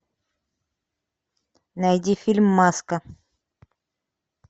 найди фильм маска